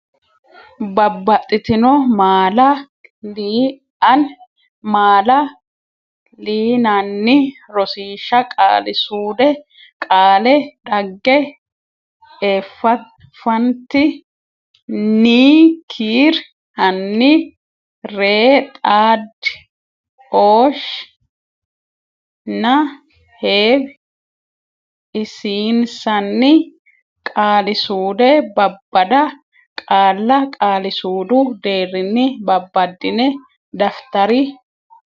babbaxxitino maala l anni maala linanni Rosiishsha Qaali suude Qaale dhagge effant nni kiir anni ree xaad ooshsh nna heew isiins anni Qaali suude Babbada qaalla qaali suudu deerrinni babbaddine daftari.